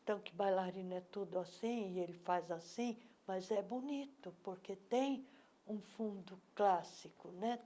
Então, que bailarino é tudo assim e ele faz assim, mas é bonito, porque tem um fundo clássico, né?